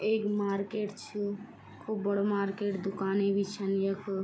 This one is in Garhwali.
एक मार्केट छ खूब बडू मार्केट दुकाणी भी छन यख।